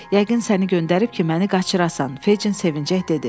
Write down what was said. Yəqin səni göndərib ki, məni qaçırasan, Feccin sevincək dedi.